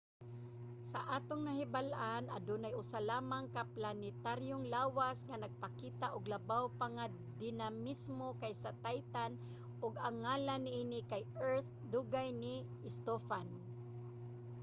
sa atong nahibal-an adunay usa lamang ka planetaryong lawas nga nagpakita og labaw pa nga dinamismo kaysa titan ug ang ngalan niini kay earth, dugang ni stofan